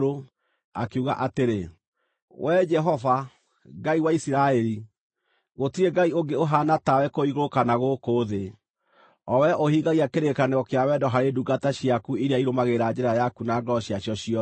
akiuga atĩrĩ: “Wee Jehova, Ngai wa Isiraeli, gũtirĩ Ngai ũngĩ ũhaana tawe kũu igũrũ kana gũkũ thĩ, o wee ũhingagia kĩrĩkanĩro kĩa wendo harĩ ndungata ciaku iria irũmagĩrĩra njĩra yaku na ngoro ciacio ciothe.